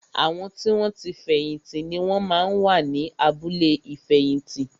Àwọn tí wọn ti fẹ̀yìn tì ni wón máa ń wà ní abúlé ìfẹ̀yìntì